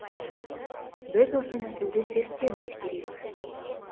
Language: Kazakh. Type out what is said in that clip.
біз осы нәсілді зерттеуіміз керек